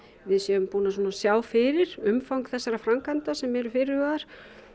við séum búin að sjá fyrir umfang þessara framkvæmda sem eru fyrirhugaðar